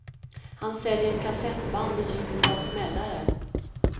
Han säljer kassettband med ljudet av smällare.